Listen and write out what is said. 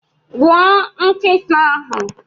Gbuo nkịta ahu!